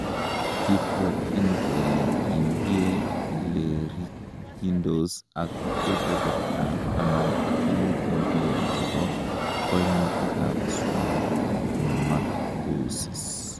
Kibwotyin kele gindie ilerikyindos ak keberbertab taman ak mut en bokol chebo koimutikab schwannomatosis.